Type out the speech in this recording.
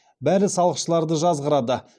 бәрі салықшыларды жазғырады